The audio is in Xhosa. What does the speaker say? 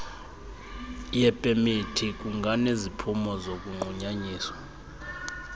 yepemithi kunganeziphumo zokunqunyanyiswa